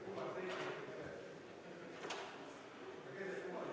Austatud Riigikogu, palun tähelepanu!